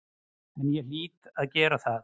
En ég hlýt að gera það.